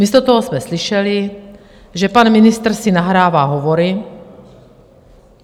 Místo toho jsme slyšeli, že pan ministr si nahrává hovory.